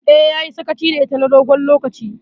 Eh, yayi sakaci da ita na dogon lokaci.